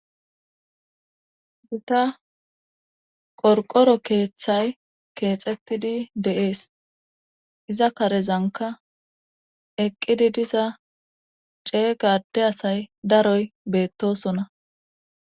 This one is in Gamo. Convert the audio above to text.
Guta qorqoro keeththay keexettidi de'.ees iza karezanka eqqidi diza cee gade asay daroy beettosona.